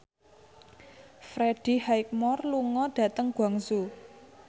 Freddie Highmore lunga dhateng Guangzhou